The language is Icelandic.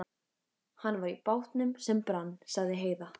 Hann var í bátnum sem brann, sagði Heiða.